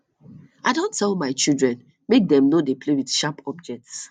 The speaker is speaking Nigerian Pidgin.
i don tell my children make dem no dey play with sharp objects